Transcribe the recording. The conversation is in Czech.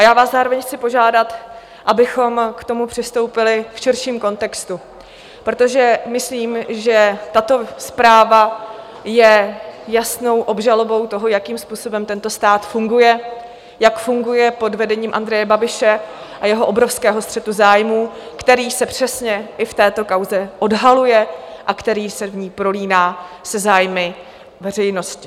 A já vás zároveň chci požádat, abychom k tomu přistoupili v širším kontextu, protože myslím, že tato zpráva je jasnou obžalobou toho, jakým způsobem tento stát funguje, jak funguje pod vedením Andreje Babiše a jeho obrovského střetu zájmů, který se přesně i v této kauze odhaluje a který se v ní prolíná se zájmy veřejnosti.